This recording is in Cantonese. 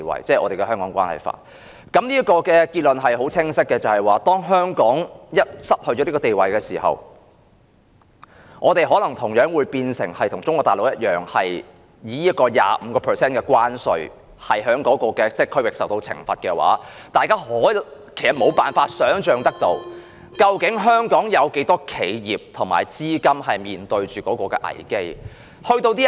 這個結論清晰可見，即是當香港失去這個地位時，香港可能同樣變成與中國大陸一樣，以同一區域界定而受到被徵收 25% 關稅的懲罰，大家可以想象得到，究竟香港有多少企業和資金要面對這個危機。